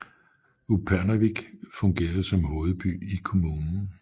Upernavik fungerede som hovedby i kommunen